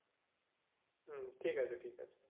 হম ঠিক আছে ঠিক আছে।